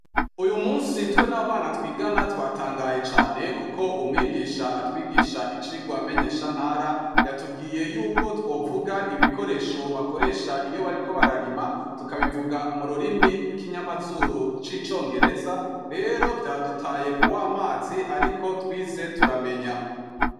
uyumunsi twe n'abana twigana twatangaye cane kuko umwigisha atwigisha icigwa menyeshantara yatubwiye yuko twovuga ibikoresho bakoresha iyo bariko bararima tukabivuga mu rurimi rw'ikinyamazuru c'icongereza rero vyadutaye kuw'amazi ariko twize turamenya